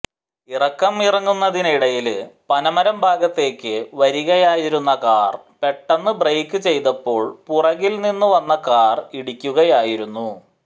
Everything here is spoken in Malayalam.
ഇറക്കം ഇറങ്ങുന്നതിനിടയില് പനമരം ഭാഗത്തേക്ക് വരികയായിരുന്ന കാർ പെട്ടെന്ന് ബ്രെയിക്ക് ചെയ്തപ്പോൾ പുറകിൽ നിന്നുവന്ന കാർ ഇടിക്കുകയായിരുന്നു